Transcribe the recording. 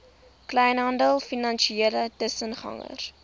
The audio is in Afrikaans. kleinhandel finansiële tussengangers